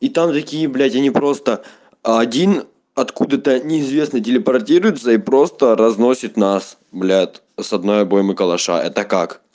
и там такие блядь они просто один откуда-то неизвестно телепортируются и просто разносит нас блядь с одной обоймы калаша это как